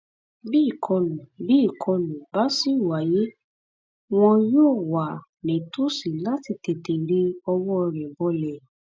bí ìkọlù bí ìkọlù bá sì wáyé wọn yóò wà nítòsí láti tètè ri ọwọ rẹ bọlẹ